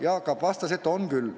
Jaak Aab vastas, et on küll.